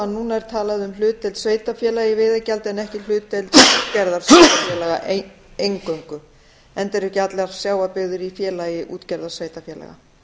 er talað um hlutdeild sveitarfélaga í veiðigjaldi en ekki hlutdeild útgerðarsveitarfélaga eingöngu enda eru ekki allar sjávarbyggðir í félagi útgerðarsveitarfélaga